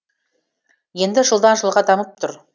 енді жылдан жылға дамып тұр